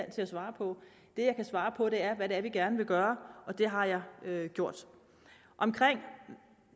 til at svare på det jeg kan svare på er hvad det er vi gerne vil gøre og det har jeg gjort